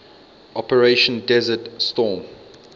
operation desert storm